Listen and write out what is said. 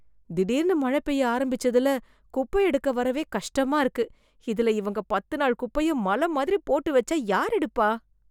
திடிர்னு மழ பெய்ய ஆரம்பிச்சதுல குப்ப எடுக்க வரவே கஷ்டமா இருக்கு, இதுல இவங்க பத்து நாள் குப்பைய மல மாதிரி போட்டு வச்சா யார் எடுப்பா?